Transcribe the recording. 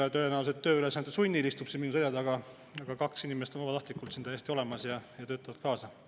Üks küll tõenäoliselt tööülesannete sunnil istub siin minu selja taga, aga kaks inimest on vabatahtlikult täiesti olemas ja töötavad kaasa.